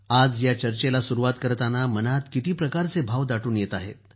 आज या चर्चेला सुरूवात करताना मनात किती प्रकारचे भाव दाटून येत आहेत